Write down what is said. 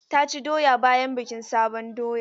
Ta ci doya bayan bikin sabon doya.